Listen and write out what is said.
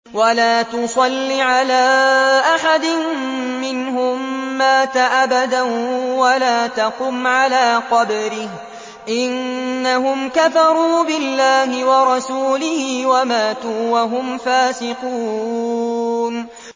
وَلَا تُصَلِّ عَلَىٰ أَحَدٍ مِّنْهُم مَّاتَ أَبَدًا وَلَا تَقُمْ عَلَىٰ قَبْرِهِ ۖ إِنَّهُمْ كَفَرُوا بِاللَّهِ وَرَسُولِهِ وَمَاتُوا وَهُمْ فَاسِقُونَ